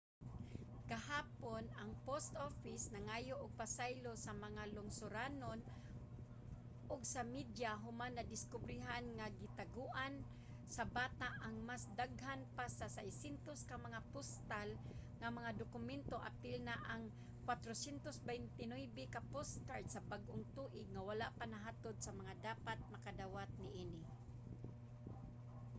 gahapon ang post office nangayo og pasaylo sa mga lungsuranon ug sa media human nadiskubrehan nga gitaguan sa bata ang mas daghan pa sa 600 ka mga postal nga mga dokumento apil na ang 429 ka postcard sa bag-ong tuig nga wala pa nahatod sa mga dapat makadawat niini